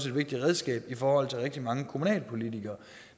vigtigt redskab for rigtig mange kommunalpolitikere